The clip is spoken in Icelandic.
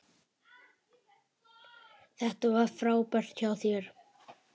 Þetta var frábært hjá þér!